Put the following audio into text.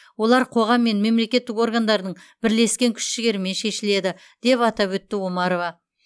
олар қоғам мен мемлекеттік органдардың бірлескен күш жігерімен шешіледі деп атап өтті омарова